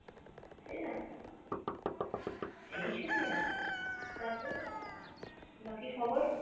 তাইনা? এইসবই আরকি, তারপরে বাকি খবর?